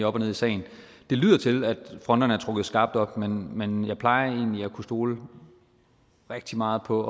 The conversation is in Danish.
op og ned i sagen det lyder til at fronterne er trukket skarpt op men men jeg plejer egentlig at kunne stole rigtig meget på